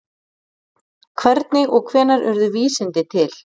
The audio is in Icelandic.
Hvernig og hvenær urðu vísindi til?